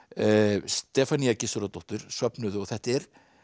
Stefanía Gissurardóttir söfnuðu og þetta er